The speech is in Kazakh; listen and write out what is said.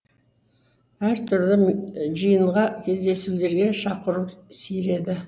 әртүрлі жиынға кездесулерге шақыру сиреді